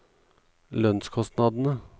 lønnskostnadene